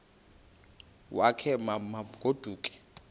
wakhe ma baoduke